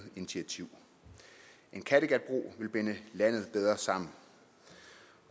initiativ en kattegatbro vil binde landet bedre sammen